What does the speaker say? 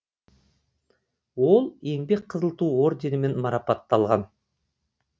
ол еңбек қызыл ту орденімен марапатталған